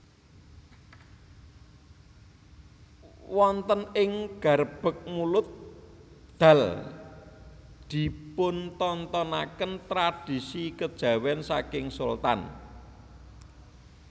Wonten ing Garebeg Mulud Dal dipuntontonaken tradisi kejawen saking Sultan